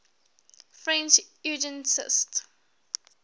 french eugenicists